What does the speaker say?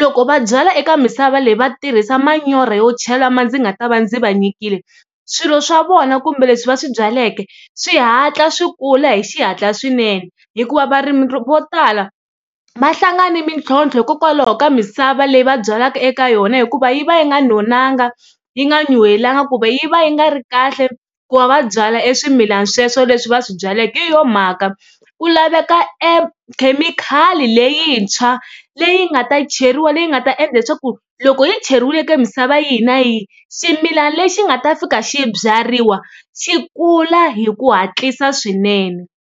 loko va byala eka misava leyi va tirhisa manyorha yo ndzi nga ta va ndzi va nyikile swilo swa vona kumbe leswi va swi byaleke swi hatla swi kula hi xihatla swinene hikuva varimi vo tala va hlangana ni mitlhontlho hikokwalaho ka misava leyi va byalaka eka yona hikuva yi va yi nga nonanga yi nga nyuhelanga kumbe yi va yi nga ri kahle ku va va byala e swimila sweswo leswi va swi byaleke hi yona mhaka ku laveka e khemikhali leyintshwa leyi nga ta cheriwa leyi nga ta endla leswaku loko yi cheriwile eka misava yihi na yihi ximilana lexi nga ta fika xi byariwa xi kula hi ku hatlisa swinene.